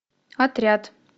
отряд